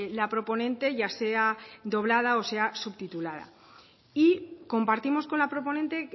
la proponente ya sea doblada o sea subtitulada y compartimos con la proponente